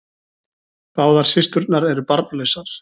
Báðar systurnar eru barnlausar